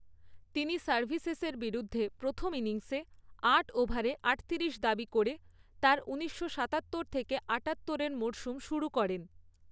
তিনি সার্ভিসেসের বিরুদ্ধে প্রথম ইনিংসে আট ওভারে আটতিরিশ দাবি করে তার ঊনিশশো সাতাত্তর থেকে আঠাত্তরের মরসুম শুরু করেন।